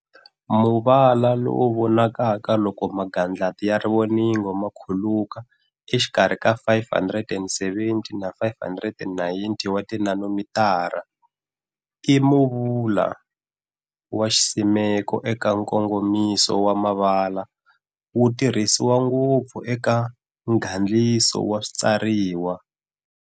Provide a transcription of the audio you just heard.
Muvala lowu wu vonaka loko magandlati ya rivoningo makhuluka exikarhi ka 570-590 wa ti nanomitara. I muvala wa xisimeko eka nkongomiso wa mavala wu tirhisiwa ngopfu eka ngandliso wa switsariwa.